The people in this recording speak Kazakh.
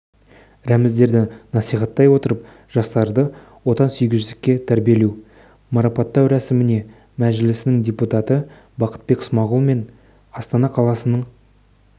рәміздерді насихаттай отырып жастарды отансүйгіштікке тәрбиелеу марапаттау рәсіміне мәжілісінің депутаты бақытбек смағұл мен астана қаласының